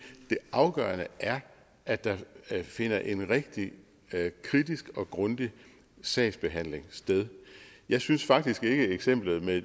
afgørende er at der finder en rigtig kritisk og grundig sagsbehandling sted jeg synes faktisk ikke eksemplet med